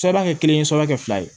Sɛbɛn kɛ kelen ye sɛbɛn kɛ fila ye